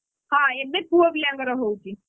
ହଁ ଏବେ ପୁଅପିଲାଙ୍କର ହଉଛି।